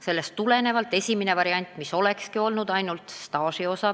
Sellest tulenevalt lükatigi kõrvale esimene variant, mis oleks arvestanud ainult staažiosa.